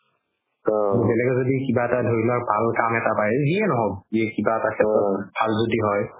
বেলেগে যদি কিবা ধৰি লোৱা ভাল কাম এটা যিয়ে নহওক যি কিবা এটা ভাল যদি হয়